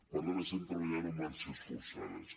per tant estem treballant a marxes forçades